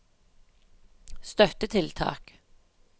støttetiltak